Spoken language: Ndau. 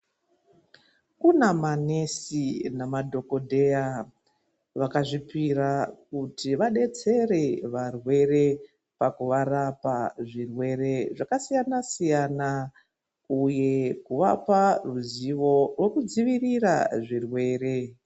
Kune manesi nemadhogodheya vakazvipira kuti vadetsere varwere pakuvarapa zvirwere zvakasiyana-siyana uye kuvapa ruzivo rwokudzivirira zvirwere.